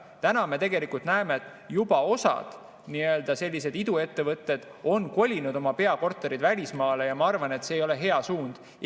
" Täna me tegelikult näeme, et osad sellised iduettevõtted on juba kolinud oma peakorterid välismaale ja ma arvan, et see ei ole hea suund.